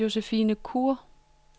Josephine Kure